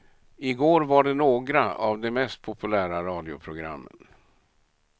I går var det några av de mest populära radioprogrammen.